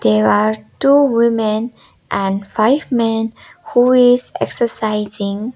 there are two women and five men who is exercising.